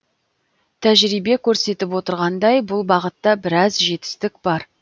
тәжірибе көрсетіп отырғандай бұл бағытта біраз жетістік бар